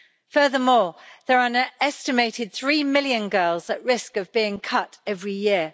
Furthermore, there are an estimated three million girls at risk of being cut every year.